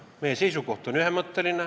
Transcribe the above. Meie seisukoht on ühemõtteline.